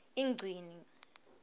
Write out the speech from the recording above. ingcini